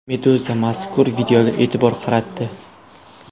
Meduza mazkur videoga e’tibor qaratdi .